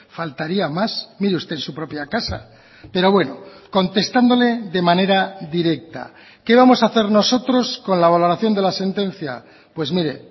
faltaría más mire usted en su propia casa pero bueno contestándole de manera directa qué vamos a hacer nosotros con la valoración de la sentencia pues mire